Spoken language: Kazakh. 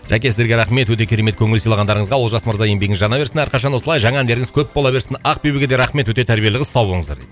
жәке сіздерге рахмет өте керемет көңіл сыйлағандарыңызға олжас мырза еңбегіңіз жана берсін арқашан осылай жаңа әндеріңіз көп бола берсін ақбибіге де рахмет өте тәрбиелі қыз сау болыңыздар дейді